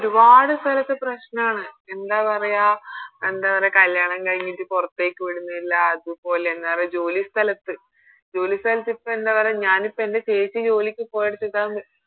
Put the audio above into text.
ഒരുപാട് സ്ഥലത്ത് പ്രശ്നണ് എന്താ പറയാ എന്താ പറയാ കല്യാണം കഴിഞ്ഞിട്ട് പൊറത്തേക്ക് വിടുന്നില്ല അതുപോലെ എന്ന പറയാ ജോലി സ്ഥലത്ത് ജോലി സ്ഥലത്ത് ഇപ്പൊ എന്താ പറയാ ഞാനിപ്പോ എൻറെ ചേച്ചി ജോലിക്ക് പോയെടുത്ത്